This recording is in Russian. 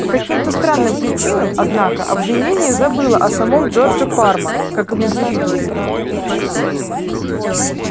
по каким-то странным причинам однако обвинение забыло о самом джордже парма как об индивидууме